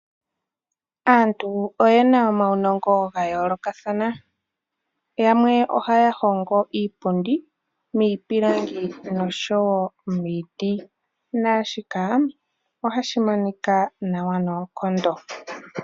Aantu oye na omaunongo ga yoolokathana, yamwe ohaya hongo iipundi miipilangi oshowo miiti naashika ohashi monika nawa noonkondo.